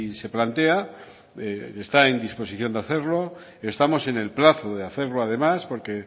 se plantea está en disposición de hacerlo estamos en el plazo de hacerlo además porque